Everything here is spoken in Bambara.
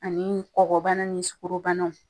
Ani kɔkɔbana ni sugɔrobanaw